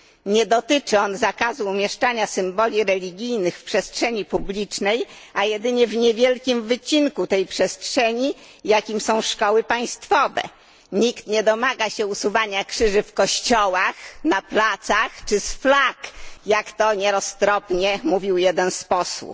Nie dotyczy on zakazu umieszczania symboli religijnych w przestrzeni publicznej, a jedynie w niewielkim wycinku tej przestrzeni, jakim są szkoły państwowe. Nikt nie domaga się usuwania krzyży w kościołach, na placach czy z flag, jak to nieroztropnie mówił jeden z posłów.